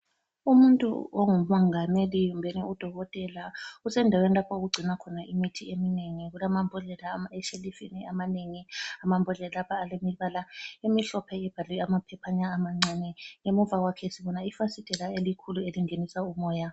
Umuntu ongumongameli kumbeni u dokotela usendaweni lapho okugcinwa khona imithi eminengi kulamambodlela eshelufini amanengi amambodlela lapha alemibala emihlophe ebhalwe amaphephana amancane ngemuva kwakhe sibona ifasitela elikhulu elingenisa umoya.